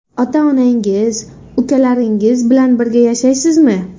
Ota-onangiz, ukalaringiz bilan birga yashaysizmi?